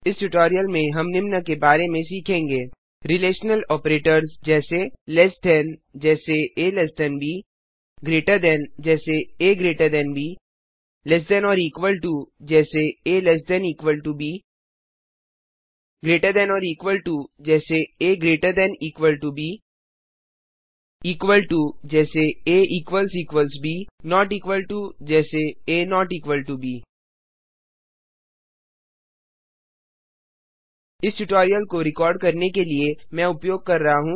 इस ट्यूटोरियल में हम निम्न के बारे में सीखेंगे रिलेशनल आपरेटर्स रिलेशनल ऑपरेटर्स जैसे लेस थान से कम जैसे आ ब ग्रेटर thanसे अधिक जैसे आ ब less than or equal to से कम या बराबर जैसे आ ब greater than or equal to से अधिक या बराबर जैसे आ ब इक्वल टो के बराबर जैसे आ ब नोट इक्वल टो के बराबर नहीं जैसे a ब इस ट्यूटोरियल को रिकार्ड करने के लिए मैं उपयोग कर रहा हूँ